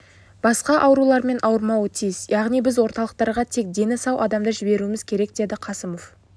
басқа аурулармен ауырмауы тиіс яғни біз орталықтарға тек дені сау адамды жіберуіміз керек деді қасымов